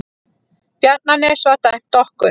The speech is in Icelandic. Bjarnanes var dæmt okkur!